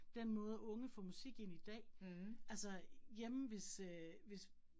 Den måde unge får musik ind i dag altså hjemme hvis øh hvis